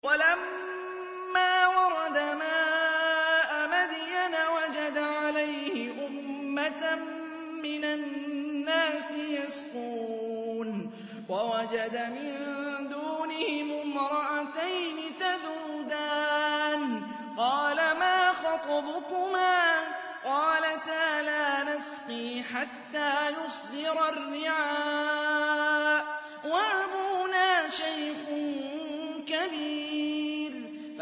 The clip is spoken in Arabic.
وَلَمَّا وَرَدَ مَاءَ مَدْيَنَ وَجَدَ عَلَيْهِ أُمَّةً مِّنَ النَّاسِ يَسْقُونَ وَوَجَدَ مِن دُونِهِمُ امْرَأَتَيْنِ تَذُودَانِ ۖ قَالَ مَا خَطْبُكُمَا ۖ قَالَتَا لَا نَسْقِي حَتَّىٰ يُصْدِرَ الرِّعَاءُ ۖ وَأَبُونَا شَيْخٌ كَبِيرٌ